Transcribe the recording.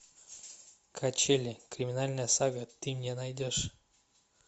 качели криминальная сага ты мне найдешь